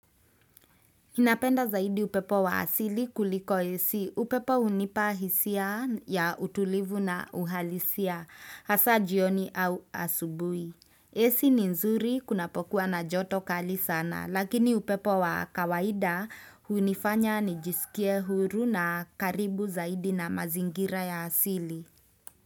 Ninapenda zaidi upepo wa asili kuliko AC upepo hunipa hisia ya utulivu na uhalisia hasa jioni au asubuhi. AC ni nzuri kunapokuwa na joto kali sana lakini upepo wa kawaida hunifanya nijisikie huru na karibu zaidi na mazingira ya asili.